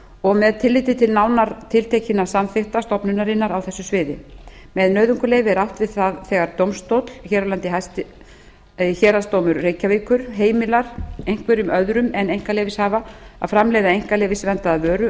og með tilliti til nánar tiltekinna samþykkta stofnunarinnar á þessu sviði með nauðungarleyfi er átt við það þegar dómstóll hér á landi héraðsdómur reykjavíkur heimilar einhverjum öðrum en einkaleyfishafa að framleiða einkaleyfisverndaða vöru